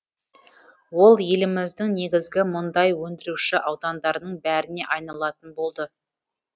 ол еліміздің негізгі мұндай өндіруші аудандарының біріне айналатын болды